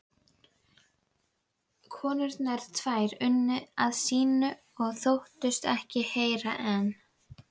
Úr höfði hans stökk alsköpuð Mata